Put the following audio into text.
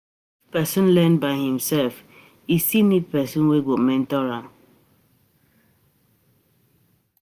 If persin learn by himself e still need persin wey go mentor am